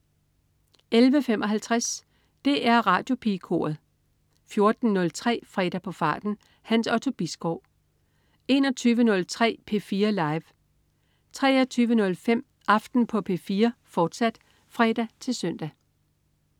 11.55 DR Radiopigekoret 14.03 Fredag på farten. Hans Otto Bisgaard 21.03 P4 Live 23.05 Aften på P4, fortsat (fre-søn)